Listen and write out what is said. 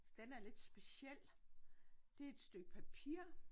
Den er lidt speciel. Det er et stykke papir